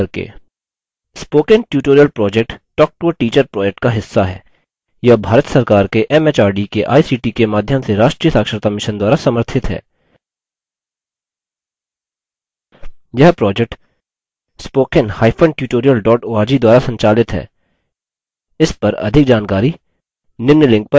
spoken tutorial project talktoateacher project का हिस्सा है यह भारत सरकार के एमएचआरडी के आईसीटी के माध्यम से राष्ट्रीय साक्षरता mission द्वारा समर्थित है